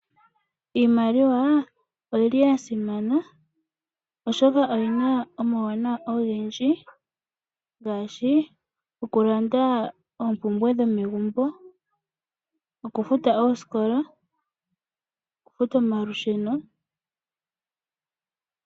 Iimaliwa oyili yasimana oshoka oyina omauwana ogendji ngaashi okulanda oompumbwe dhomegumbo, okufuta oosikola nosho woo okufuta omalusheno.